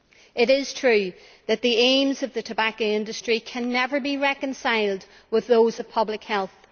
It is true that the aims of the tobacco industry can never be reconciled with those of public health.